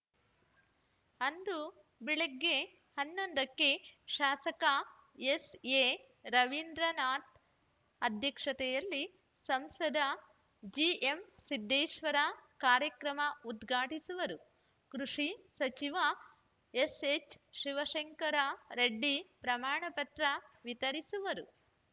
ಅಂದು ಬೆಳಿಗ್ಗೆ ಹನ್ನೊಂದ ಕ್ಕೆ ಶಾಸಕ ಎಸ್‌ಎರವಿಂದ್ರನಾಥ್‌ ಅಧ್ಯಕ್ಷತೆಯಲ್ಲಿ ಸಂಸದ ಜಿಎಂಸಿದ್ದೇಶ್ವರ ಕಾರ್ಯಕ್ರಮ ಉದ್ಘಾಟಿಸುವರು ಕೃಷಿ ಸಚಿವ ಎಸ್‌ಎಚ್‌ಶಿವಶಂಕರ ರೆಡ್ಡಿ ಪ್ರಮಾಣಪತ್ರ ವಿತರಿಸುವರು